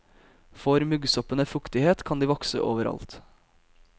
Får muggsoppene fuktighet kan de vokse overalt.